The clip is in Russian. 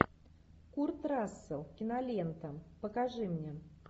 курт рассел кинолента покажи мне